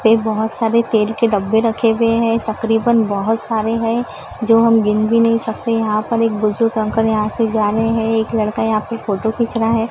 एक बहोत सारे तेल के डब्बे रखे हुए हैं तकरीबन बहोत सारे हैं जो हम गिन भी नहीं सकते यहां पर एक बुजुर्ग अंकल यहां से जा रहे हैं एक लड़का यहां पे फोटो खींच रहा है।